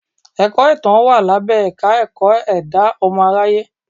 Ẹ̀kọ́ Ìtàn wà lábẹ́ Ẹ̀ka-ẹ̀kọ́ ẹ̀dá ọmọ aráyé.